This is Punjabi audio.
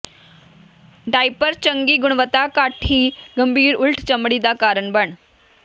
ਡਾਇਪਰ ਚੰਗੀ ਗੁਣਵੱਤਾ ਘੱਟ ਹੀ ਗੰਭੀਰ ਉਲਟ ਚਮੜੀ ਦਾ ਕਾਰਨ ਬਣ